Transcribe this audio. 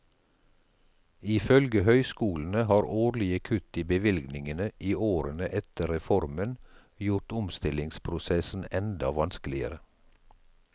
Ifølge høyskolene har årlige kutt i bevilgningene i årene etter reformen gjort omstillingsprosessen enda vanskeligere.